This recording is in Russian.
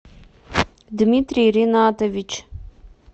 дмитрий ренатович